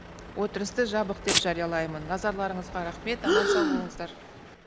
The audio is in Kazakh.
отырысты жабық деп жариялаймын назарларыңызға рахмет аман сау болыңыздар